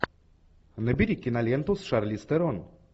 набери киноленту с шарлиз терон